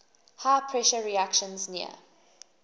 high pressure reactions near